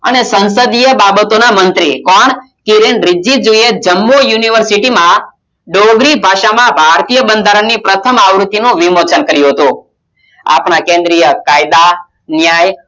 અને સંસદીય બાબતોના મંત્રી કોણ કિરણ રીજ્જુ એ જમ્મ university ડોંગરી ભાષામાં ભારતીય બંધારણ ની પ્રથમ આવૃતિ નું વિમોચન કર્યું હતું આપના કેન્દ્રીય કાયદા ન્યાય અને